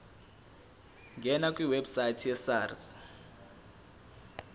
ngena kwiwebsite yesars